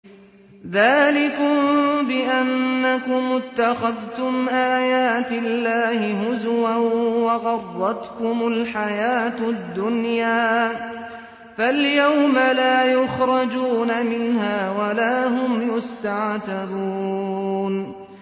ذَٰلِكُم بِأَنَّكُمُ اتَّخَذْتُمْ آيَاتِ اللَّهِ هُزُوًا وَغَرَّتْكُمُ الْحَيَاةُ الدُّنْيَا ۚ فَالْيَوْمَ لَا يُخْرَجُونَ مِنْهَا وَلَا هُمْ يُسْتَعْتَبُونَ